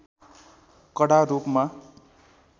कडा रूपमा